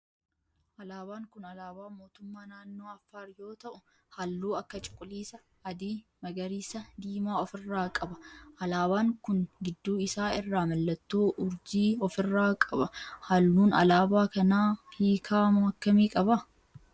Alaabaan kun alaabaa mootummaa naannoo Affaar yoo ta'u halluu akka cuquliisa, adii, magariisa, diimaa of irraa qaba. Alaabaan kun gidduu isaa irraa mallattoo urjii of irraa qaba. Halluun alaabaa kanaa hiika akkamii qaba?